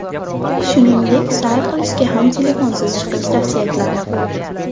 Shuningdek, sayr qilishga ham telefonsiz chiqish tavsiya etiladi.